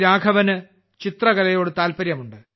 രാഘവന്് ചിത്രകലയോട് താൽപ്പര്യമുണ്ട്